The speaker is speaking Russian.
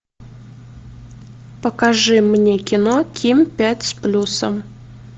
покажи мне кино ким пять с плюсом